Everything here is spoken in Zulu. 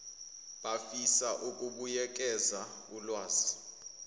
abafisa ukubuyekeza ulazi